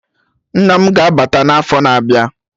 Nna mụ ga-abata n'afọ na-abịa